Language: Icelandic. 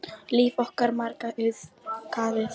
Líf okkar margra auðgaði hann.